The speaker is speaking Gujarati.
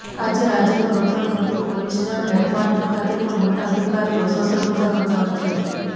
આજે રાજ્યનું રક્ષણ કરતી પોલીસના હેડક્વાર્ટર ખાતે પણ મોટા અધિકારીઓ શસ્ત્રપુજા કરતા હોય છે